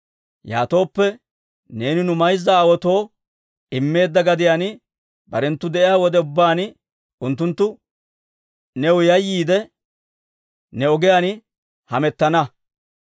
Yaatooppe, neeni nu mayza aawaatoo immeedda gadiyaan barenttu de'iyaa wode ubbaan, unttunttu new yayyiide, ne ogiyaan hamettana.